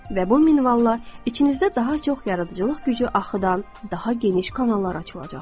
Və bu minvalla içinizdə daha çox yaradıcılıq gücü axıdan, daha geniş kanallar açılacaqdır.